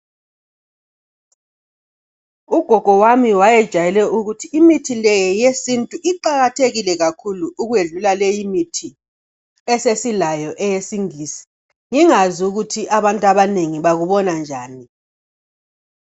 ugogo wami wayejayele ukuthi imithi le eyesintu iqakathekile kakhulu ukwedluala leyi imithi esesilayo eyesingisi ngingazi ukuthi abantu abanengi abakubona njani